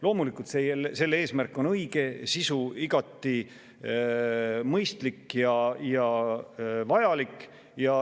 Loomulikult, selle eesmärk on õige, sisu on igati mõistlik ja vajalik.